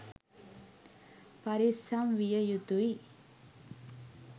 පරිස්සම් විය යුතුයි